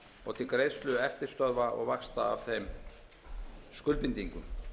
og til greiðslu eftirstöðva og vaxta af þeim skuldbindingum